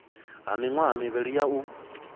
ha miṅwaha mivhili ya u